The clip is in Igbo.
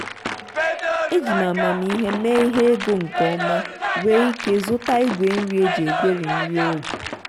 eji m amamihe mee ihe ego nke ọma wee ike zụta igwe nri e ji egweri nri ụlọ.